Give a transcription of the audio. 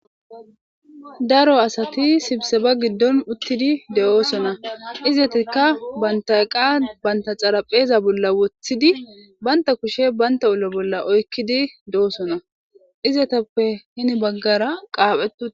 daro asati sibse ba giddon uttidi de7oosona izatikka bantayqa banta xarapheeza bolla woththidi banta kushe baynta ula bolla oykkidi doosona izatappe hini baggara qaaphetu